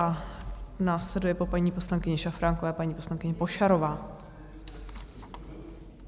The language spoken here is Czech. A následuje po paní poslankyni Šafránkové paní poslankyně Pošarová.